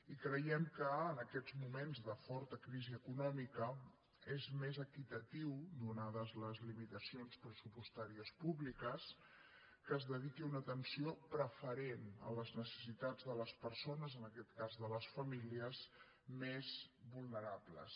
i creiem que en aquests moments de forta crisi econòmica és més equitatiu donades les limitacions pressupostàries públiques que es dediqui una atenció preferent a les necessitats de les persones en aquest cas de les famílies més vulnerables